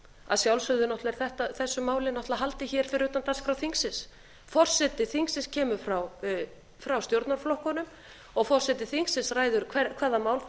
að sjálfsögðu er þessu máli náttúrlega haldið hér fyrir utan dagskrá þingsins forseti þingsins kemur frá stjórnarflokkunum og forseti þingsins ræður hvaða mál það